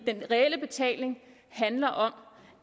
den reelle betaling handler om